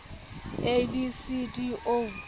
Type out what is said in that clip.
a b c d o